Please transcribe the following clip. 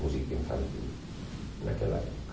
música infantil naquela época.